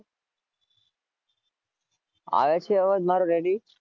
આવે છે અવાજ મારે